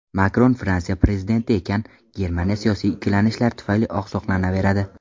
Makron Fransiya prezidenti ekan, Germaniya siyosiy ikkilanishlar tufayli oqsoqlanaveradi.